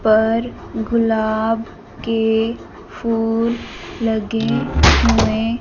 पर गुलाब के फूल लगे हुएं--